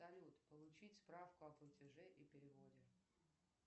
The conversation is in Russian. салют получить справку о платеже и переводе